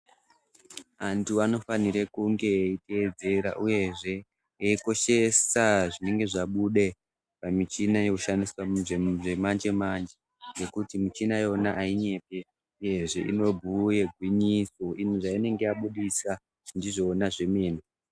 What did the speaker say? Antu anofanira kunge eitedzera uyezve eikoshesa zvinenge zvabuda pamuchina inoshandiswa zvechimanje manje ngekuti michina iyona ainyepe uyezve inobhuya gwinyiso zvainenge yabudisa ndizvona zvemene.